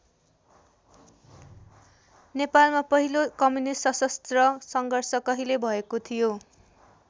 नेपालमा पहिलो कम्युनिष्ट सशस्त्र सङ्घर्ष कहिले भएको थियो?